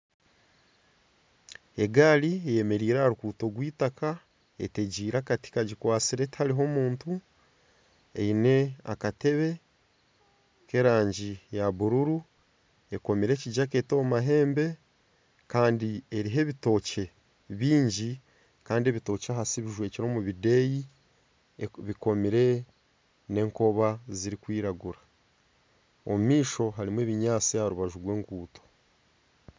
Egaari eyemereire aha ruguuto rw'eitaka etegiire akati kagikwatsire tihariho muntu. Eine akatebe k'erangi ya buruuru ekomire ekijaketi omu mahembe kandi eriho ebitookye bingi kandi ebitookye ahansi bijwekire omu bideeyi, bikomire n'enkoba zirikwiragura. Omu maisho harimu ebinyaatsi aha rubaju rw'enkuuto